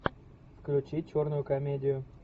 включи черную комедию